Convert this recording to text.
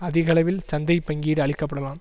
அதிக அளவில் சந்தை பங்கீடு அளிக்கப்படலாம்